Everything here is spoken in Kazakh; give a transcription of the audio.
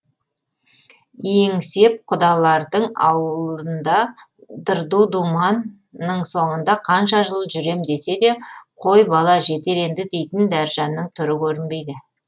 еңсеп құдалардың аулында дырду думанның соңында қанша жыл жүрем десе де қой бала жетер енді дейтін дәржанның түрі көрінбейді